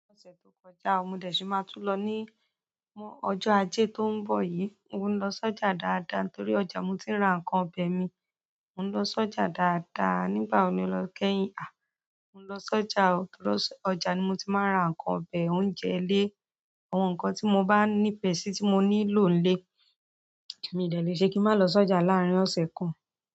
Ní ọ̀sẹ̀ tó kọjá, mò dẹ̀ ṣé máa tún lọ ní m- ọjọ́ ajé tó ń bọ̀ yí. Mo ń lọ sọ́jà dáadáa torí ọjà mo ti ń ra nǹkan ọbẹ̀ mi. Mo ún lọ sọ́jà dáadáa, nígbà wo ni o lọ kẹ́yìn? À, mo ún lọ sọ́jà o torí ọjà ni mo ti máa ń ra nǹkan ọbẹ̀, oúnjẹ ilé, àwọn nǹkan tí mo bá ní pẹ̀sì tí mo ní lò ní ilé. Èmi dẹ̀ lè ṣe kí n má lọ sọ́jà láàárín ọ̀sẹ̀ kan.